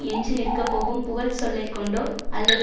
எஞ்சி நிற்கப்போகும் புகழ்ச் சொல்லை கொண்டோ அல்லது